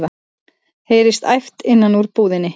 heyrist æpt innan úr búðinni.